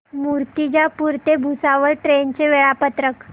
मूर्तिजापूर ते भुसावळ ट्रेन चे वेळापत्रक